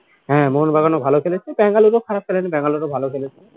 হ্যাঁ মোহনবাগানও ভালো খেলেছে বাঙ্গালোরও খারাপ খেলেনি বাঙ্গালোরও ভালো খেলেছে